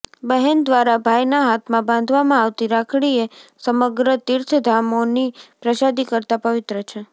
બહેન દ્વારા ભાઈના હાથમાં બાંધવામાં આવતી રાખડી એ સમગ્ર તિર્થધામોની પ્રસાદી કરતા પવિત્ર છે